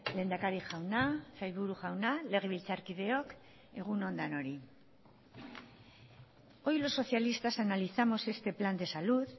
lehendakari jauna sailburu jauna legebiltzarkideok egun on denoi hoy los socialistas analizamos este plan de salud